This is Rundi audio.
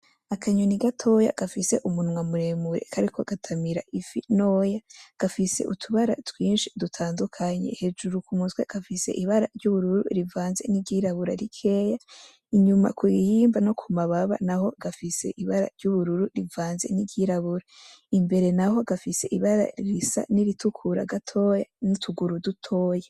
Akanyoni gatoya gafise umunwa muremure kariko gatamira ifi ntoya gafise utubara twinshi dutandukanye hejuru kumutwe gafise ibara ry'ubururu rivanze niry'irabura rikeya inyuma kwihembe no ku mababa naho gafise ibara ry'ubururu rivanze niry'irabura imbere naho gafise ibara niritukuru gatoya n'utuguru dutoya.